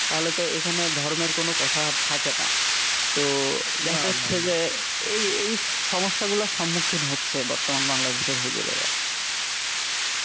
তাহলে তো এখানে ধর্মের কোন কথা আর থাকে না। তো দেখা যাচ্ছে যে এই এই সমস্যাগুলোর সম্মুখীন হচ্ছে বর্তমান বাংলাদেশের হুজুরেরা